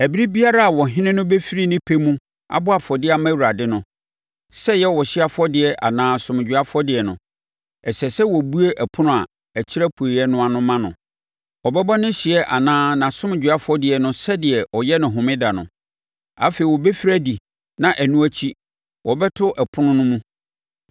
“ ‘Ɛberɛ biara a ɔhene no bɛfiri ne pɛ mu abɔ afɔdeɛ ama Awurade no, sɛ ɛyɛ ɔhyeɛ afɔdeɛ anaa asomdwoeɛ afɔdeɛ no, ɛsɛ sɛ wɔbue ɛpono a ɛkyerɛ apueeɛ no ma no. Ɔbɛbɔ ne ɔhyeɛ anaa ne asomdwoeɛ afɔdeɛ no sɛdeɛ ɔyɛ no wɔ Homeda no. Afei ɔbɛfiri adi na ɛno akyi wɔbɛto ɛpono no mu.